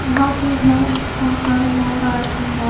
यहां पे है बहुत सारे लोग आए हुए हैं।